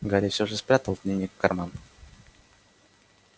гарри всё же спрятал дневник в карман